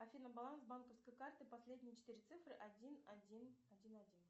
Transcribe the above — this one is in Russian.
афина баланс банковской карты последние четыре цифры один один один один